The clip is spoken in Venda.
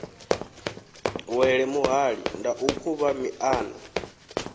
wele muhali ndau khuvha miṱana